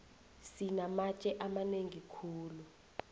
sinamatje amanengi khulu